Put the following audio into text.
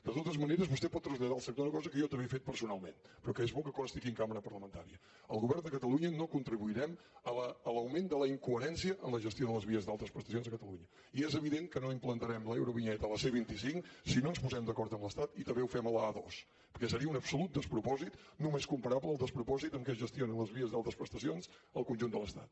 de totes maneres vostè pot traslladar al sector una cosa que jo també he fet personalment però que és bo que consti aquí en cambra parlamentària el govern de catalunya no contribuirem a l’augment de la incoherència en la gestió de les vies d’altes prestacions a catalunya i és evident que no implantarem l’eurovinyeta a la c vint cinc si no ens posem d’acord amb l’estat i també ho fem a l’a dos perquè seria un absolut despropòsit només comparable al despropòsit amb què es gestionen les vies d’altes prestacions al conjunt de l’estat